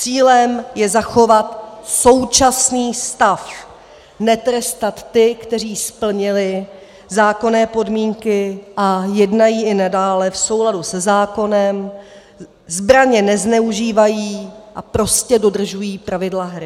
Cílem je zachovat současný stav netrestat ty, kteří splnili zákonné podmínky a jednají i nadále v souladu se zákonem, zbraně nezneužívají a prostě dodržují pravidla hry.